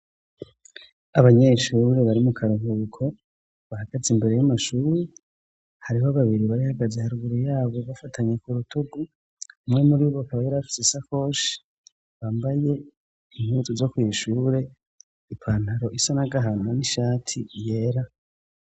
Abanyeshure bari mu ka ruhuhuko bahagaze imbere y'amashuri . Hariho babiri bari bahagaze haruguru y'abo bafatanye ku rutugu. Umwe muri bo, akaba yari afite isakoshi. Bambaye impuzu zo kw'ishure; ipantaro isa n'agahama, n'ishati yera.